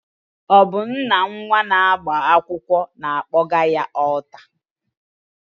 Ọ bụ nna nnwa na-agba akwụkwọ na-akpọga ya n'ọlta